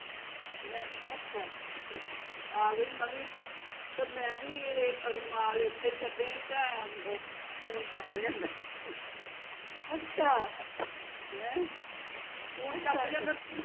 ਮੈਂ ਆ ਗਈ ਮੈਂ ਵੀ ਤੇ ਮੈਂ ਵੀ ਰੁਮਾਲ ਓਥੇ ਹੀਂ ਛੱਡ ਆਈ ਤਾਂ phone ਚੱਕ ਲਿਆਂਦਾ ਤੇ